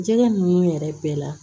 Jɛgɛ ninnu yɛrɛ bɛɛ la